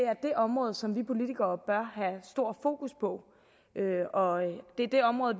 område som vi politikere bør have stor fokus på og det er det område